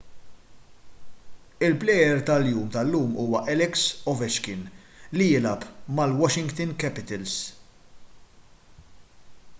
il-plejer tal-jum tal-lum huwa alex ovechkin li jilgħab mal-washington capitals